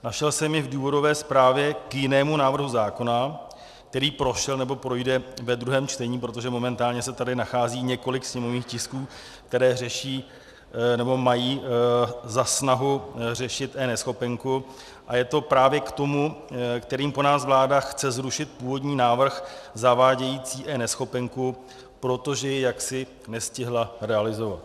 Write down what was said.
Našel jsem je v důvodové zprávě k jinému návrhu zákona, který prošel, nebo projde ve druhém čtení, protože momentálně se tady nachází několik sněmovních tisků, které řeší, nebo mají za snahu řešit eNeschopenku, a je to právě k tomu, kterým po nás vláda chce zrušit původní návrh zavádějící eNeschopenku, protože je jaksi nestihla realizovat.